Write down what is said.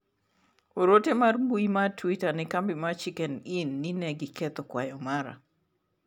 oro ote mar mbui mar twita ne kambi mar chicken inn ni ne giketho kwayo mara